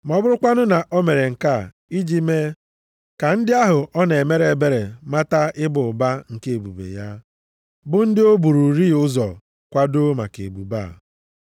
Ma ọ bụrụkwanụ na o mere nke a iji mee ka ndị ahụ ọ na-emere ebere mata ịba ụba nke ebube ya, bụ ndị o bururị ụzọ kwadoo maka ebube a.